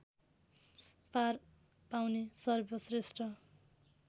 पार पाउने सर्वश्रेष्ठ